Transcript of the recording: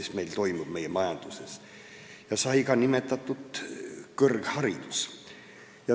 Siin sai nimetatud ka kõrgharidust.